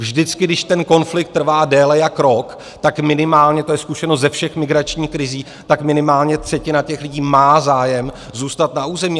Vždycky, když ten konflikt trvá déle jak rok, tak minimálně, to je zkušenost ze všech migračních krizí, tak minimálně třetina těch lidí má zájem zůstat na území.